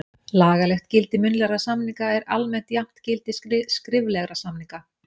Lagalegt gildi munnlegra samninga er almennt jafnt gildi skriflegra samninga.